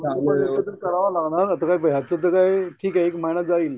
व्यवस्थित करायला लागणार आता काय याच्यातून काही ठीक आहे एक महिना जाईल